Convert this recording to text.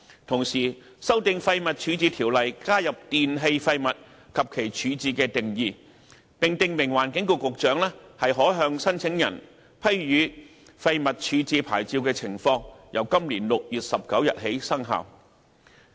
同時，修訂《廢物處置條例》，加入"電器廢物"及其"處置"的定義，並訂明環境局局長可向申請人批予廢物處置牌照的情況，由今年6月19日起生效。